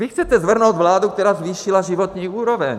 Vy chcete svrhnout vládu, která zvýšila životní úroveň.